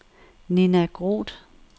Ninna Groth